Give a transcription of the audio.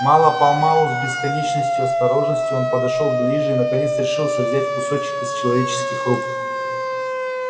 мало помалу с бесконечной осторожностью он подошёл ближе и наконец решился взять кусок из человеческих рук